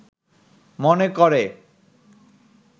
মনে করে